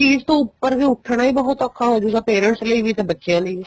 ਉਸ ਚੀਜ਼ ਤੋ ਉੱਪਰ ਉੱਠਣਾ ਬਹੁਤ ਔਖਾ ਹੋ ਜਉਗਾ parents ਲਈ ਵੀ ਤੇ ਬੱਚਿਆ ਲਈ ਵੀ